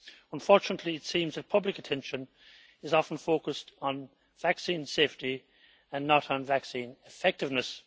Unfortunately, it seems that public attention is often focused on vaccine safety and not on vaccine effectiveness.